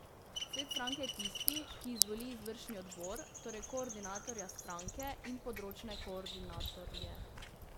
Svet stranke je tisti, ki izvoli izvršni odbor, torej koordinatorja stranke in področne koordinatorje.